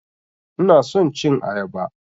Ina son cin ayaba.